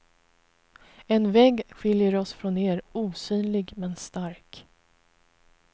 En vägg skiljer oss från er, osynlig men stark.